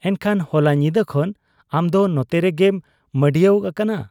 ᱮᱱᱠᱷᱟᱱ ᱦᱚᱞᱟ ᱧᱤᱫᱟᱹ ᱠᱷᱚᱱ ᱟᱢᱫᱚ ᱱᱚᱛᱮᱨᱮᱜᱮᱢ ᱢᱟᱺᱰᱤᱭᱟᱹᱣ ᱟᱠᱟᱱᱟ ?